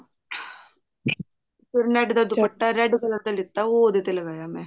ਫੇਰ net ਦਾ ਛੋਟਾ ਜਾ ਦੁਪੱਟਾ ਲਿੱਤਾ ਉਹ ਉਹਦੇ ਤੇ ਲਗਾਇਆ ਮੈਂ